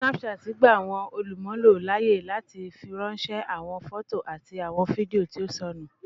Snapchat gba awọn olumulo laaye lati firanṣẹ awọn fọto ati awọn fidio ti o sọnu.